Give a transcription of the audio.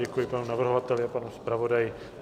Děkuji panu navrhovateli a panu zpravodaji.